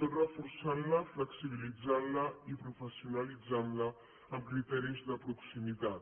tot reforçant la flexibilitzant la i professionalitzant la amb criteris de proximitat